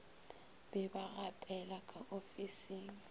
be ba gapelwa ka ofising